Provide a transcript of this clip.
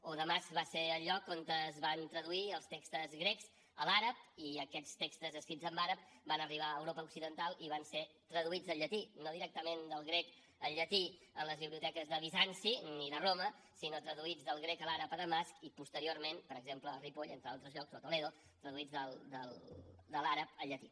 o damasc va ser el lloc on es van traduir els textos grecs a l’àrab i aquests textos escrits en àrab van arribar a europa occidental i van ser traduïts al llatí no directament del grec al llatí a les biblioteques de bizanci ni de roma sinó traduïts del grec a l’àrab a damasc i posteriorment per exemple a ripoll entre altres llocs o a toledo traduïts de l’àrab al llatí